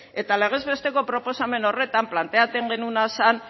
eta legez besteko proposamen horretan planteatzen genuena zan